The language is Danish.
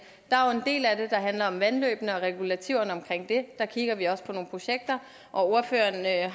der er jo en del af det der handler om vandløbene og regulativerne omkring det der kigger vi også på nogle projekter ordføreren har jeg